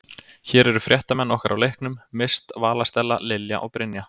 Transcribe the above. Hér eru fréttamenn okkar á leiknum, Mist, Vala Stella, Lilja og Brynja.